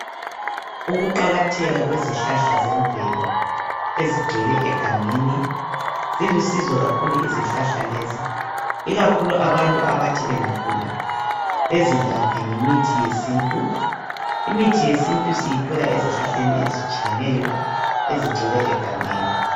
Ukuqakatheka kwezihlahla zemvelo ezigcwele egangeni zilusizo kakhulu izihlahla lezi ikakhulu abantu abathi bengagula bezilaphe ngemithi yesintu. Imithi yesintu siyithola ezihlahleni ezitshiyeneyo ezigcwele egangeni.